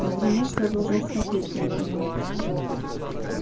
бедренец продолжал смотреть на него